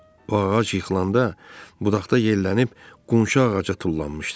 O ağac yıxılanda budaqda yellənib qonşu ağaca tullanmışdı.